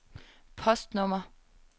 postnummer